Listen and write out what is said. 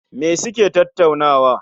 Me suke tattaunawa?